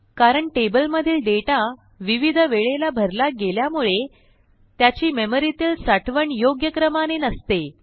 कारण टेबलमधील डेटा विविध वेळेला भरला गेल्यामुळे त्याची मेमरीतील साठवण योग्य क्रमाने नसते